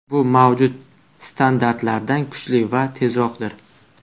Bu mavjud standartlardan kuchli va tezroqdir.